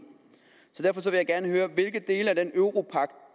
i høre hvilke dele af den europagt